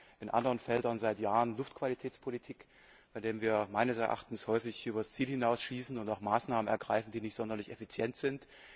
Wir machen in anderen Feldern seit Jahren Luftqualitätspolitik, in denen wir meines Erachtens häufig über das Ziel hinaus schießen und auch Maßnahmen ergreifen, die nicht sonderlich effizient sind.